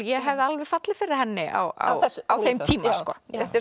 ég hefði alveg fallið fyrir henni á á á þeim tíma sko þetta er